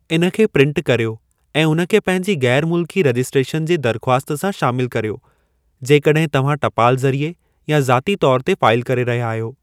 इन खे प्रिन्ट कर्यो ऐं उन खे पंहिंजी ग़ैरु मुल्की रजिस्ट्रेशन जे दरख़्वास्त सां शामिलु कर्यो जेकॾहिं तव्हां टपाल ज़रिए या ज़ाती तौर ते फाईल करे रहया अहियो।